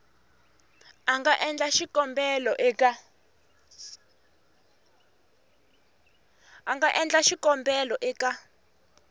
a nga endla xikombelo eka